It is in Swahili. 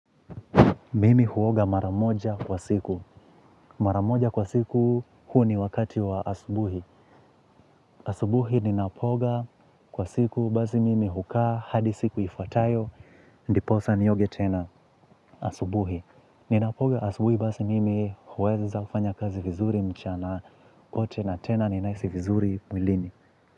Mimi huoga mara moja kwa siku. Mara moja kwa siku huu ni wakati wa asubuhi. Asubuhi ninapooga kwa siku basi mimi hukaa hadi siku ifuatayo, ndiposa nioge tena asubuhi. Ninapooga asubuhi basi mimi huweza kufanya kazi vizuri mchana wote na tena ninahisi vizuri mwilini.